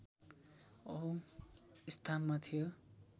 औँ स्थानमा थियो